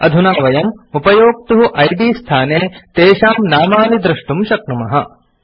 अधुना वयम् उपयोक्तुः इद् स्थाने तेषां नामानि द्रष्टुं शक्नुमः